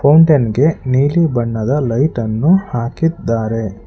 Fountain ಗೆ ನೀಲಿ ಬಣ್ಣದ ಲೈಟ್ ಅನ್ನು ಹಾಕಿದ್ದಾರೆ.